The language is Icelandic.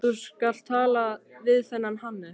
Þú skalt tala við þennan Hannes.